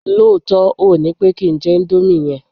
lóòtó, óò ni pe ki n je Indomie yen